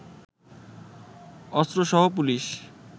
অস্ত্রসহ police